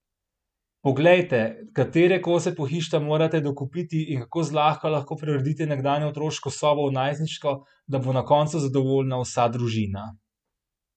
Poglejte, katere kose pohištva morate dokupiti, in kako zlahka lahko preuredite nekdanjo otroško sobo v najstniško, da bo na koncu zadovoljna vsa družina!